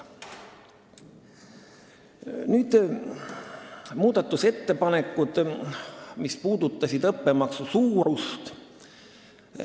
Nüüd muudatusettepanekud, mis puudutasid õppemaksu suurust.